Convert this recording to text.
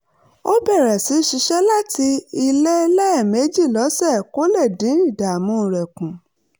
ó bẹ̀rẹ̀ sí í ṣiṣẹ́ láti ilé lẹ́ẹ̀mejì lọ́sẹ̀ kó lè dín ìdààmú rẹ̀ kù